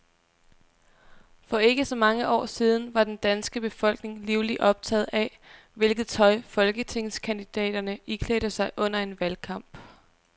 For ikke så mange år siden var den danske befolkning livligt optaget af, hvilket tøj folketingskandidaterne iklædte sig under en valgkamp.